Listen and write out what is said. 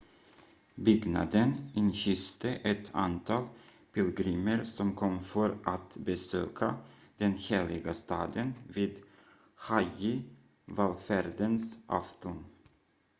byggnaden inhyste ett antal pilgrimer som kom för att besöka den heliga staden vid hajji-vallfärdens afton